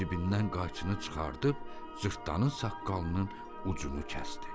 O cibindən qayçını çıxardıb cırtdanın saqqalının ucunu kəsdi.